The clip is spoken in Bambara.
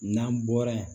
N'an bɔra yen